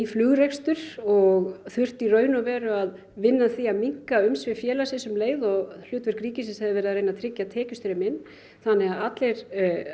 flugrekstur og þurft í raun og veru að vinna að því að minnka umsvif félagsins um leið og hlutverk ríkisins hefði verið að reyna að tryggja tekjustreymi inn þannig að allir